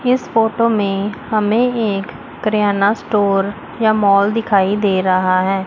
इस फोटो में हमें एक किराना स्टोर या माल दिखाई दे रहा है।